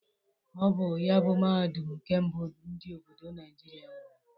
Ọ bụ ya bụ Mahadum nke mbụ ndị obodo Naijiria nwere.